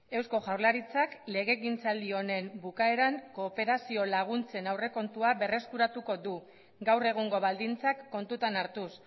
eusko jaurlaritzak legegintzaldi honen bukaeran kooperazio laguntzen aurrekontua berreskuratuko du gaur egungo baldintzak kontutan hartuz